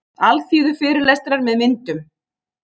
Alþýðufyrirlestrar með myndum.